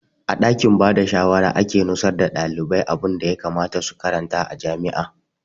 A ɗakin bada shawara ake nusar da ɗalibai abunda ya kamata su karanta a jami'a